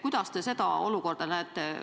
Kuidas te seda olukorda näete?